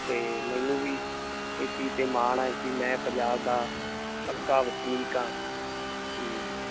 ਤੇ ਮੈਨੂੰ ਵੀ ਇਸ ਚੀਜ਼ ਤੇ ਮਾਣ ਹੈ ਕਿ ਮੈਂ ਪੰਜਾਬ ਦਾ ਪੱਕਾ ਵਸਨੀਕ ਹਾਂ ਤੇ